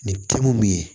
Nin te mun ye